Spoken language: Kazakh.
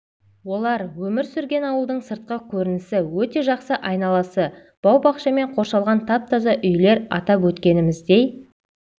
олар өмір сүрген ауылдың сыртқы көрінісі өте жақсы айналасы бау-бақшамен қоршалған тап таза үйлер атап өткеніміздей